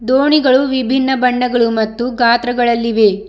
ದೋಣಿಗಳು ವಿಭಿನ್ನ ಬಣ್ಣಗಳು ಮತ್ತು ಗಾತ್ರಗಳಲ್ಲಿವೆ.